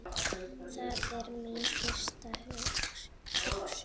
Það er mín fyrsta hugsun.